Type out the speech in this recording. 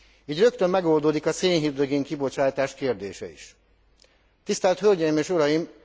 Így rögtön megoldódik a szénhidrogén kibocsátás kérdése is. Tisztelt hölgyeim és uraim!